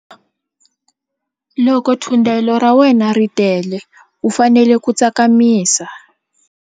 Loko thundelo ra wena ri tele u fanele ku tsakamisa.